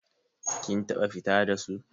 Kin taɓa fita da su?